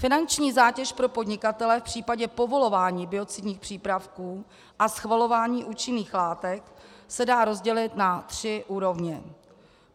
Finanční zátěž pro podnikatele v případě povolování biocidních přípravků a schvalování účinných látek se dá rozdělit na tři úrovně.